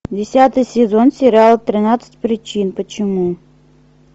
десятый сезон сериал тринадцать причин почему